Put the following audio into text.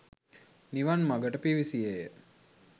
නිවන් මඟට පිවිසියේ ය.